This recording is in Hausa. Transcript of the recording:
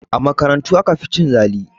A makarantu aka fi cin zali